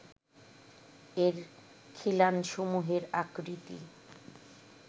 এর খিলানসমূহের আকৃতি